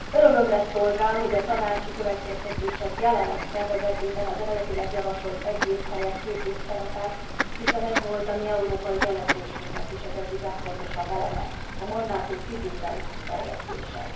Örömömre szolgál, hogy a tanácsi következtetések jelenlegi tervezetében az eredetileg javasolt egy év helyett két év szerepel, hiszen ez volt a mi európai jelentésünknek is az egyik legfontosabb eleme a mandátum időbeli kiterjesztése.